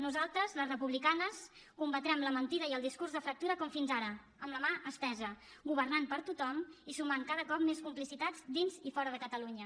nosaltres les republicanes combatrem la mentida i el discurs de fractura com fins ara amb la mà estesa governant per tothom i sumant cada cop més complicitats dins i fora de catalunya